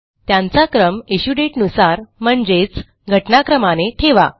त्यांचा क्रम इश्यू दाते नुसार म्हणजेच घटनाक्रमाने ठेवा